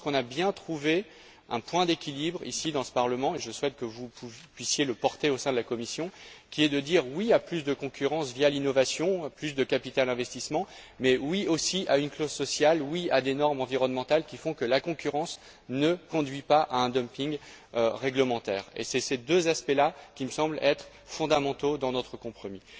Je pense qu'on a bien trouvé un point d'équilibre, ici dans ce Parlement et je souhaite que vous puissiez le porter au sein de la Commission qui est de dire oui à plus de concurrence via l'innovation, à plus de capital investissement, mais oui aussi à une clause sociale, oui à des normes environnementales qui font que la concurrence ne conduit pas à un dumping réglementaire. Et ce sont ces deux aspects là qui me semblent être fondamentaux dans notre compromis.